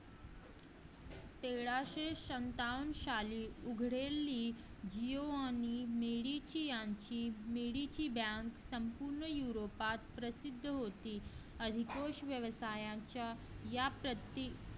तेराशे सत्तावण सली उघडेली मिरीची bank प्रसिद्ध होती. अधिकोष व्यवसायाच्या या प्रतीक